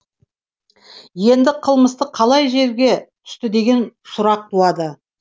енді қылмысты қалай жерге түсті деген сұрақ туады